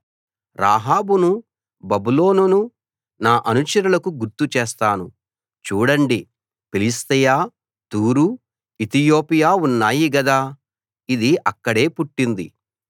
రాహాబును బబులోనును నా అనుచరులకు గుర్తు చేస్తాను చూడండి ఫిలిష్తీయ తూరు ఇతియోపియా ఉన్నాయి గదా ఇది అక్కడే పుట్టింది